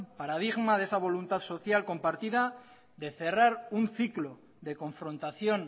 paradigma de esa voluntad social compartida de cerrar un ciclo de confrontación